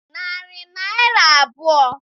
Narị Naịra abụọ.